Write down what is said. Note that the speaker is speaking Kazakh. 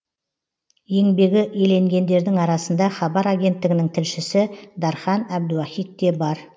еңбегі еленгендердің арасында хабар агенттігінің тілшісі дархан әбдуахит те бар